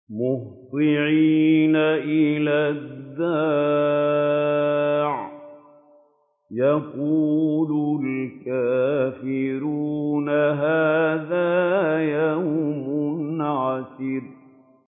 مُّهْطِعِينَ إِلَى الدَّاعِ ۖ يَقُولُ الْكَافِرُونَ هَٰذَا يَوْمٌ عَسِرٌ